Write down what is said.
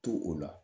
To o la